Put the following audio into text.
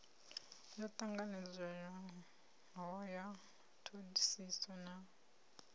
yo tanganelanaho ya thodisiso na